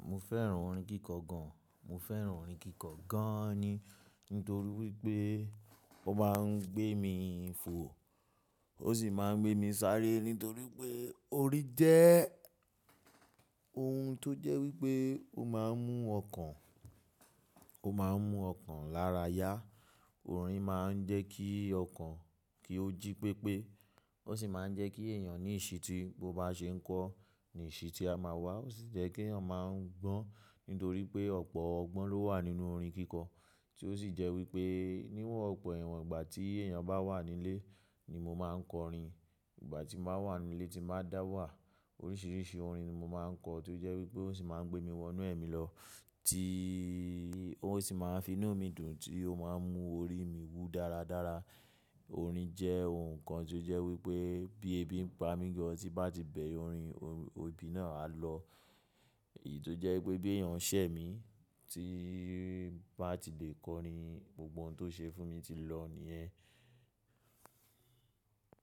Mo fẹ́ràn orin kíkọ gan. Mo fẹ́ràn orin kíkọ gan ni nítorí wípé ó máa ń gbé mi fò, ó sì máa ń gbé mi sáré nítorí pé orin jẹ́ ohun tó jẹ́ wípé ó máa ń mú ọkàn, ó máa ń mú ọkàn lára yá. Orin máa ń jẹ́ kí ọkàn kí ó jí pépé, ó sì máa ń jẹ́ kí èèyàn ní ìṣíti bo bá ṣe ń kọ, ní ìṣí tí a máa wá, ó sì jẹ́ kí eeyan máa ń gbọ́n nítorí pé ọ̀pọ̀ ọgbọ́n ló wà nínú orin kíkọ. Tí ó sì jẹ́ wípé níwòn pọ̀ ẹ̀wọ̀n ìgbà tí èèyàn bá wà nílé ni mo máa ń kọ orin. Ìgbà tí n ba wà nílé tí n ba dà wà. Oríṣiríṣi orin ni mo máa ń kọ tó jẹ́ wípé ó sì máa ń gbé mi wọnú ẹ̀mí lọ tí ó sì máa ń finú mi dùn tí ó máa ń mú orí mi wú dáradára. Orin jẹ́ ohun kan tó jẹ́ wípé bí ebi ń pa mí gan tí n bá ti bẹre orin, orin, ebi náà á lọ. Èyí tó jẹ́ wípé bí èèyàn ṣẹ̀ mí tí n bá ti lè kọ orin gbogbo oun tó ṣe fún mi ti lọ nìyẹn.